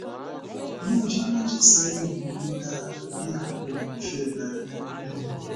ni ọjọ meji sẹhin monilara bi e ọpọlọ mi fe gba ina um